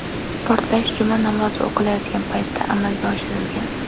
Portlash Juma namozi o‘qilayotgan vaqtda amalga oshirilgan.